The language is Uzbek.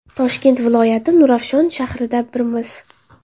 Toshkent viloyati, Nurafshon shahrida Birmiz!